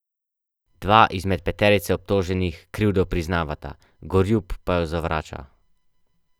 Dva izmed peterice obtoženih krivdo priznavata, Gorjup pa jo zavrača.